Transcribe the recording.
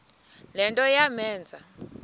le nto yamenza